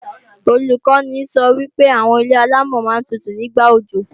Olùkọ́ni sọ wípé àwọn ilé-àlámọ̀ máa ń tutù ní ìgbà òjò